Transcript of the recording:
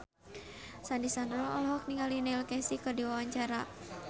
Sandy Sandoro olohok ningali Neil Casey keur diwawancara